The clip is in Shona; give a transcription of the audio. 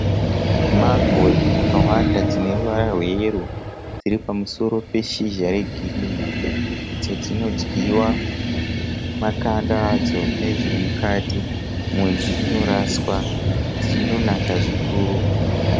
Mango dzakawanda dzineruvara rweyero dziripamusoro peshizha regirinhi. Idzo dzinodyiwa makanda adzo nezvirimukati, mhodzi inoraswa, dzinonaka zvikuru.